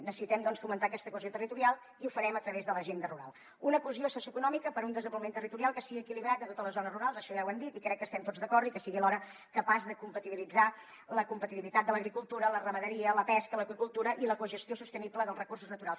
necessitem doncs fomentar aquesta cohesió territorial i ho farem a través de l’agenda rural una cohesió socioeconòmica per a un desenvolupament territorial que sigui equilibrat a totes les zones rurals això ja ho hem dit i crec que hi estem tots d’acord i que sigui alhora capaç de compatibilitzar la competitivitat de l’agricultura la ramaderia la pesca l’aqüicultura i la cogestió sostenible dels recursos naturals